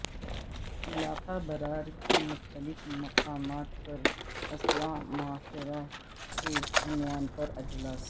علاقہ برار کے مختلف مقامات پر اصلاح معاشرہ کے عنوان پر اجلاس